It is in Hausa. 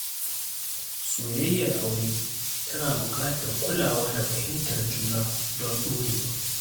Soyayyar aure tana buƙatar kulawa da fahimtar juna don ɗorewa.